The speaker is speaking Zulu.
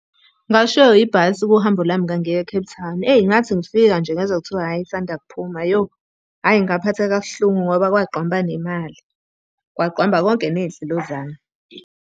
Ngashiywa ibhasi kuhambo lwami ngangiya e-Cape Town. Eyi ngathi ngifika nje ngezwa kuthiwa, hhayi isanda kuphuma yo! Hhayi ngaphatheka kabuhlungu ngoba kwagqwamba nemali, kwagqwamba konke ney'nhlelo zami.